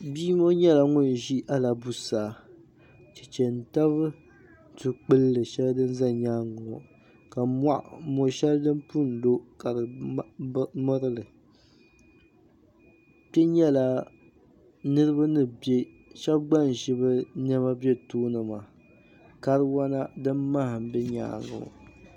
Bia ŋɔ nyɛla ŋun ʒi alabusaa cheche n-tabi dukpulli shɛli din za nyaaŋa ŋɔ ka moshɛli din pun lo ka di miri li shɛba gba n-ʒi bɛ nɛma be tooni maa kariwana din maha m-be nyaaŋa ŋɔ.